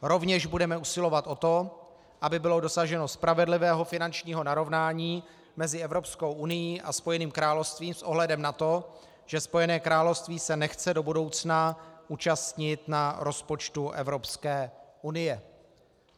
Rovněž budeme usilovat o to, aby bylo dosaženo spravedlivého finančního narovnání mezi Evropskou unií a Spojeným královstvím s ohledem na to, že Spojené království se nechce do budoucna účastnit na rozpočtu Evropské unie."